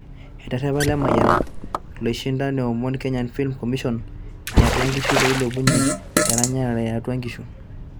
Eterepa Lemayian loishinda neomon Kenya Film Commision iatwa inkishu peilepunye eranyare iatwa inkishu